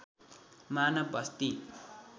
मानव बस्ती